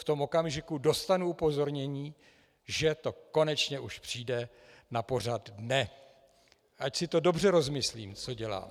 V tom okamžiku dostanu upozornění, že to konečně už přijde na pořad dne, ať si to dobře rozmyslím, co dělám.